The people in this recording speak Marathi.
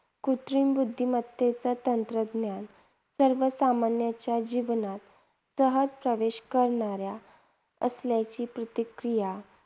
कृत्रिम बुद्धिमत्तेच तंत्रज्ञान सर्वसामान्यांच्या जीवनात सहज प्रवेश करणाऱ्या असल्याची प्रतिक्रिया